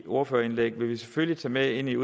ordførerindlæg vil vi selvfølgelig tage med ind i